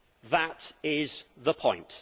That is the point.